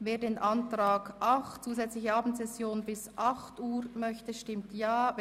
Wer dem Antrag 8 zustimmt, stimmt Ja, wer den Antrag 9 vorzieht, stimmt Nein.